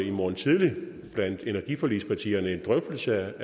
i morgen tidlig blandt energiforligspartierne en drøftelse